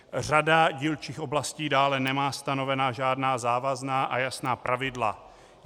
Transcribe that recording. Řada dílčích oblastí dále nemá stanovena žádná závazná a jasná pravidla.